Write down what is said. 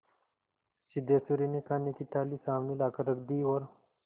सिद्धेश्वरी ने खाने की थाली सामने लाकर रख दी और